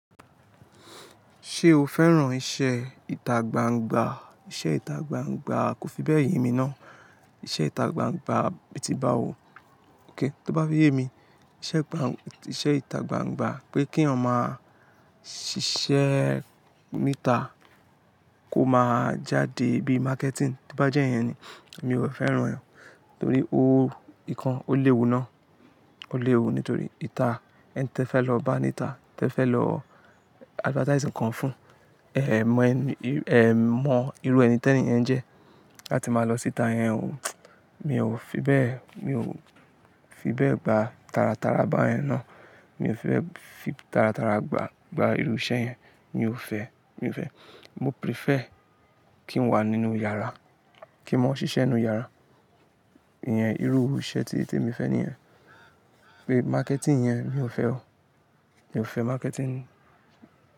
Ṣé o fẹ́ràn iṣẹ́ ìtagbangba? Iṣẹ́ ìtagbangba kò fi bẹ́ẹ̀ yemi ná. Iṣẹ́ ìtagbangba, bí ti ba wo, kíń bá fi yé mi, iṣẹ́ ìtagbangba pé keeyan ma ṣíṣe nita kó máa jáde bí marketing, to bá jẹ́'yẹn ni, mi ò fẹ́ràn ẹ̀yẹn. Nítorí o, ìkan o léwu ná, o léwu nítorí ìta ẹ́ n tí ẹ fẹ́ lọ bá ní ìta, tí ẹ fẹ́ lọ advertising kan fún, ẹ̀ mọ ẹni, ẹ̀ mọ irú ẹni tí ẹni yẹn jẹ́, láti máa lọ sí ìta yẹn ò. Mi ò fi bẹ́ẹ̀, mi ò fi bẹ́ẹ̀ gba taratara báyen ẹ̀ ná. Mi ò fi fẹ́ fi taratara gba, gba irú iṣẹ́ yẹn, mi ò fẹ́, mi ò fẹ́. Mo prefer kí n wà nínú yàrá, kí mọ́ ṣíṣe nínú yàrá. Ìyẹn irú iṣẹ́ ti, tí mo fẹ́ ni ẹ̀yẹn. Pé marketing yẹn, mi ò fẹ́ o. Mi ò fẹ́ marketing.